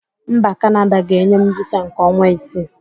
Mba Kanada ga-enye m visa nke ọnwa isii.